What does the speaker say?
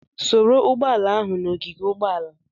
Soro Ugboala ahụ na ogige ugboala!